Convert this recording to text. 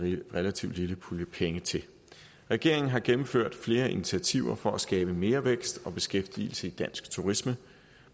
en relativt lille pulje penge til regeringen har gennemført flere initiativer for at skabe mere vækst og beskæftigelse i dansk turisme